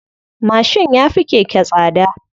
Mashin ya fi keke tsada.